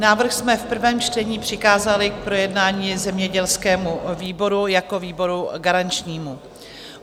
Návrh jsme v prvém čtení přikázali k projednání zemědělskému výboru jako výboru garančnímu.